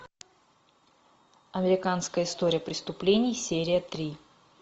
американская история преступлений серия три